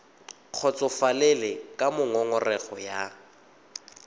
kgotsofalele ka moo ngongorego ya